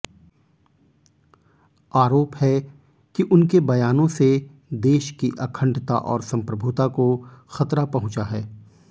आरोप है कि उनके बयानों से देश की अखंडता और सम्प्रभुता को ख़तरा पहुँचा है